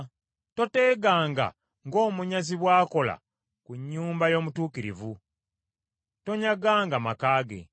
Toteeganga, ng’omunyazi bw’akola ku nnyumba y’omutuukirivu, tonyaganga maka ge.